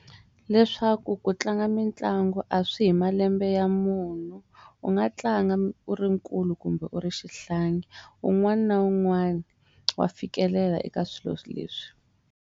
Leswaku ku tlanga mitlangu a swi yi hi malembe ya munhu u nga tlanga u ri nkulu kumbe u ri xihlangi un'wana na un'wana wa fikelela eka swilo leswi.